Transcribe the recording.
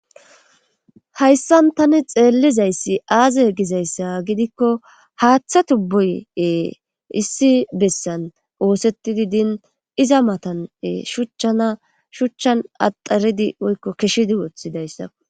hayssan tani xeellizayssi aaze e gizayssa gidikko haaththa tubboye issi bessan oosettidi din iza matane shuchchan shuchchan axaridi woykko keshidi woththidayssa